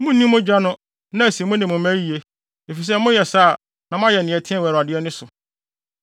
Munnni mogya no na asi mo ne mo mma yiye, efisɛ moyɛ saa a na moayɛ nea ɛteɛ wɔ Awurade ani so.